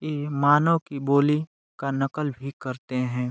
ये मानव की बोली का नक़ल भी करते हैं।